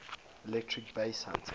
electric bass guitar